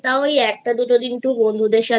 তাও একটা দুটো দিন ওই বন্ধুদের সাথে